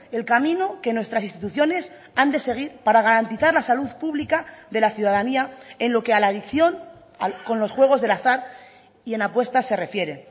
el camino que nuestras instituciones han de seguir para garantizar la salud pública de la ciudadanía en lo que a la adicción con los juegos del azar y en apuestas se refiere